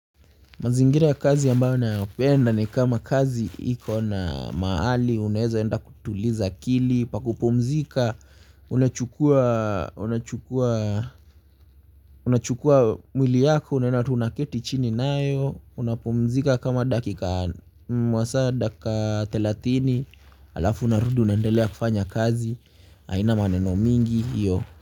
Mazingira ya kazi ambayo nayapenda ni kama kazi iko na mahali unaeza enda kutuliza akili pa kupumzika unachukua unachukua unachukua mwili yako unaenda tu unaketi chini nayo, unapumzika kama dakika masaa dakika thelathini haina maneno mingi hiyo.